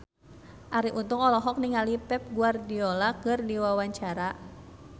Arie Untung olohok ningali Pep Guardiola keur diwawancara